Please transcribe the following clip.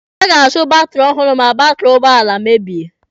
A ga-azụ batiri ọhụrụ ma batiri ụgbọala mebie.